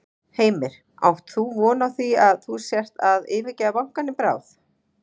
Heimir: Átt þú von á því að þú sért að yfirgefa bankann í bráð?